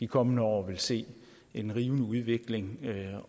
kommende år vil se en rivende udvikling